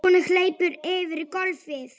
Hún hleypur yfir gólfið.